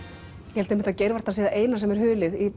ég held einmitt að geirvartan sé það eina sem er hulið í